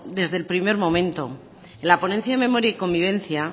desde el primer momento en la ponencia de memoria y convivencia